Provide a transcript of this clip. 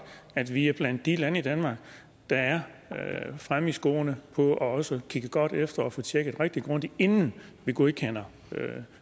at vi er blandt de lande der er fremme i skoene på også at kigget godt efter og tjekket rigtig grundigt inden vi godkender